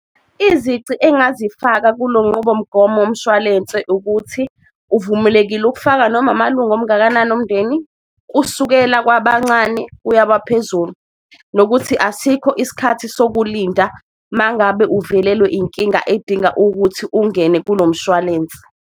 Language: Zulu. Izici engazifaka kulo nqubomgomo womshwalense ukuthi uvumelekile ukufaka noma amalunga omngakanani omndeni, kusukela kwabancane kuya baphezulu. Nokuthi asikho isikhathi sokulinda mangabe uvelelwe inkinga edinga ukuthi ungene kulo mshwalensi.